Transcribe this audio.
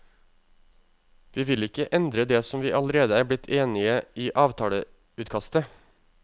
Vi vil ikke endre det som vi allerede er blitt enige i avtaleutkastet.